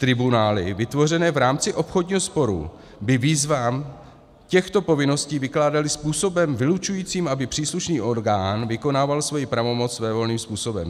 Tribunály vytvořené v rámci obchodního sporu by výzvy těchto povinností vykládaly způsobem vylučujícím, aby příslušný orgán vykonával svoji pravomoc svévolným způsobem."